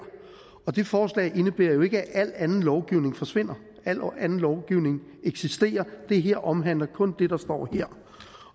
og det forslag indebærer ikke at al anden lovgivning forsvinder al anden lovgivning eksisterer og det her omhandler kun det der står her